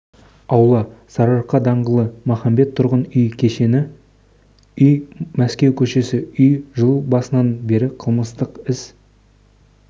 аула сарыарқа даңғылы махаббат тұрғын үй кешені үй маскеу көшесі үй жыл басынан бері қылмыстық іс